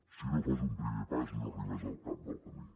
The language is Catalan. si no fas un primer pas no arribes al cap del camí